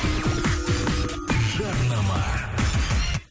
жарнама